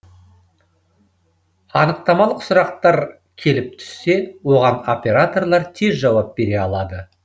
анықтамалық сұрақтар келіп түссе оған операторлар тез жауап бере алады